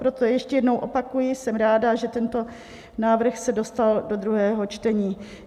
Proto ještě jednou opakuji: jsem ráda, že tento návrh se dostal do druhého čtení.